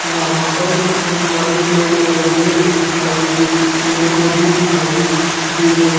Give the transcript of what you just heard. यहां पर कितने सारे पेड़ पौधे दिखाई दे पेड़ पौधे दिखाई दे रहे--